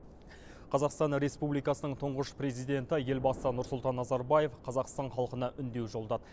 қазақстан республикасының тұңғыш президенті елбасы нұрсұлтан назарбаев қазақстан халқына үндеу жариялады